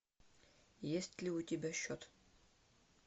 есть ли у тебя счет